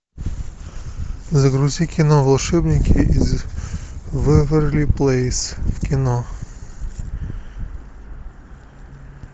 загрузи кино волшебники из вэйверли плэйс в кино